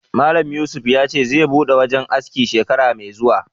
Malam Yusuf ya ce zai buɗe wajen aski shekara mai zuwa